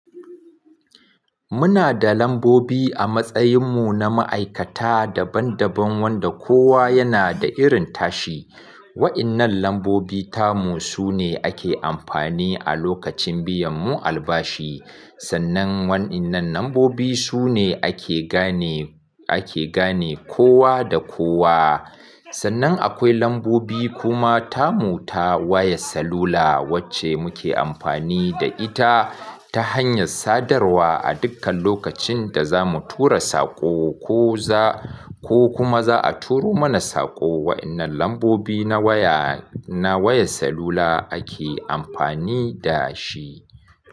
Muna da lambobi a matsayin mu na ma'aikata daban-daban wanda kowa yana da irin tashi. Wa'innan lambobi tamu su ne ake amfani a lokacin biyan mu albashi. Sannan wa'innan lambobi su ne ake gane, ake gane kowa da kowa. Sannan akwai lambobi kuma tamu ta wayar salula wacce muke amfani da ita ta hanyar sadarwa a dukkan lokacin da za mu tura saƙo ko za, ko kuma za a turo mana saƙo. Wa'innan lambobi na waya, na wayar salula ake amfani da shi.